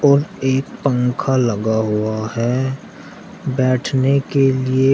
और एक पंखा लगा हुआ है बैठने के लिए--